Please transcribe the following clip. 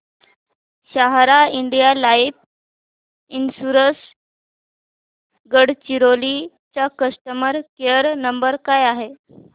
सहारा India life insurance Gadchiroli चा customer care number काय आहे